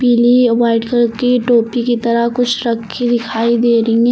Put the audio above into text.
पीली white colour की टोपी की तरह कुछ रखी दिखाई दे रही है।